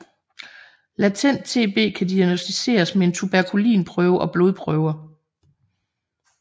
Latent TB kan diagnosticeres med en tuberkulinprøve og blodprøver